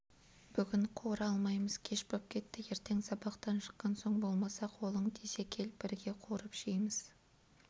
бүгін қуыра алмаймыз кеш боп кетті ертең сабақтан шыққан соң болмаса қолың тисе кел бірге қуырып жейміз